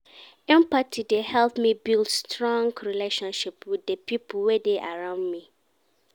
Empathy dey help me build strong relationship wit di pipo wey dey around me.